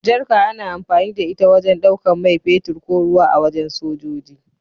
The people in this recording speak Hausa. Jarka ana amfani da ita wajen ɗaukan mai fetur ko ruwa a wajen sojoji.